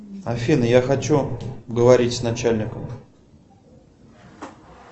афина я хочу поговорить с начальником